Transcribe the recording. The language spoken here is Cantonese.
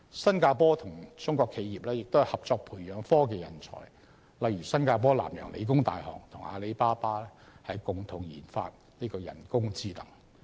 新加坡與中國企業合作培養科技人才，例如新加坡南洋理工大學與阿里巴巴共同研發人工智能。